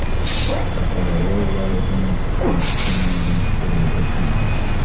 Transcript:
Qashqadaryo viloyatining Chiroqchi tumanida tug‘ilib, o‘sganman.